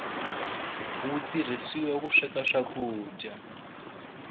wu turhisiwa ku sweka swakudya